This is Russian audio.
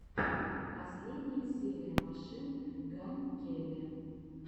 последняя серия машин ган келли